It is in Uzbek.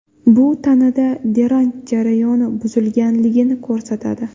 Bu tanada drenaj jarayoni buzilganligini ko‘rsatadi.